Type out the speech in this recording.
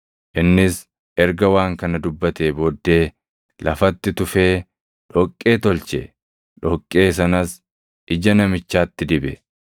Innis erga waan kana dubbatee booddee lafatti tufee dhoqqee tolche; dhoqqee sanas ija namichaatti dibe.